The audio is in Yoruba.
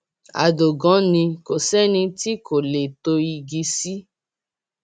àdògán ni kò sẹni tí kò lè tó igi sí i